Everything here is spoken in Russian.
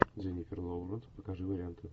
дженифер лоуренс покажи варианты